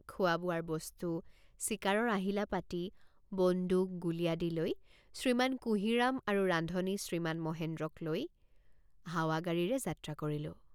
খোৱাবোৱাৰ বস্তু চিকাৰৰ আহিলাপাতি বন্দুক গুলী আদি লৈ শ্ৰীমান কুঁহিৰাম আৰু ৰান্ধনি শ্ৰীমান মহেন্দ্ৰক লগত লৈ হাৱাগাড়ীৰে মটৰেৰে যাত্ৰা কৰিলোঁ।